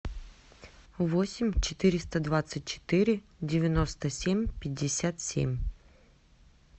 восемь четыреста двадцать четыре девяносто семь пятьдесят семь